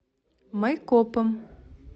майкопом